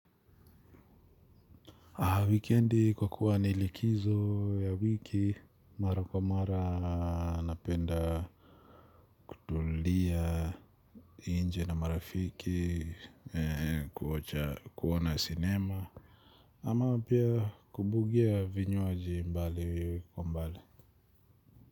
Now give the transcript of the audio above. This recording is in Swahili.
Wikendi kwa kuwa ni likizo ya wiki mara kwa mara napenda kutulia nje na marafiki kuocha kuona sinema ama pia kubugia vinywaji mbali kwa mbali.